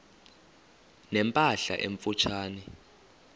ne mpahla emfutshane